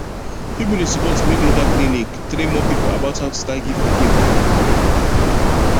people dey support make local clinic train more people about how to start give pikin food